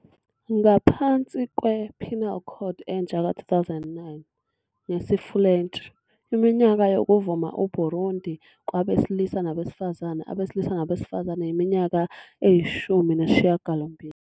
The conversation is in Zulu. Ngaphansi kwe- "Penal Code entsha ka-2009", ngesiFulentshi, iminyaka yokuvuma eBurundi kwabesilisa nabesifazane, abesilisa nabesifazane, yiminyaka eyi- 18.